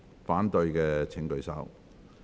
反對的請舉手。